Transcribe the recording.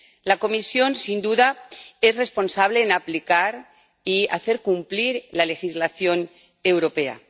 La Comisión, sin duda, es responsable de aplicar y hacer cumplir la legislación europea.